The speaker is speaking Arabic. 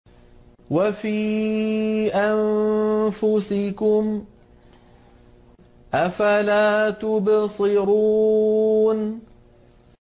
وَفِي أَنفُسِكُمْ ۚ أَفَلَا تُبْصِرُونَ